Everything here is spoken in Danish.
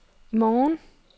i morgen